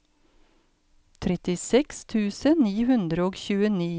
trettiseks tusen ni hundre og tjueni